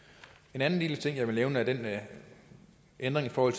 en anden lille ting jeg vil nævne er den ændring i forhold